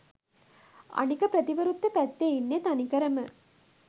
අනික ප්‍රතිවිරුද්ධ පැත්තෙ ඉන්නෙ තනිකරම